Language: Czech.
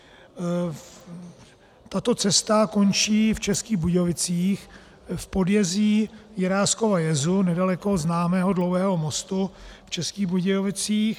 Tato cesta končí v Českých Budějovicích v podjezí Jiráskova jezu nedaleko známého Dlouhého mostu v Českých Budějovicích.